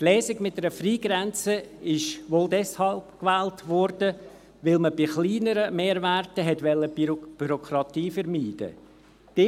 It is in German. Die Lösung mit einer Freigrenze wurde wohl deshalb gewählt, weil man bei kleineren Mehrwerten Bürokratie vermeiden wollte.